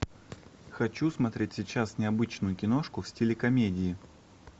хочу смотреть сейчас необычную киношку в стиле комедии